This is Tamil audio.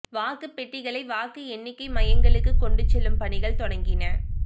வாக்குப் பெட்டிகளை வாக்கு எண்ணிக்கை மையங்களுக்கு கொண்டு செல்லும் பணிகள் தொடங்கின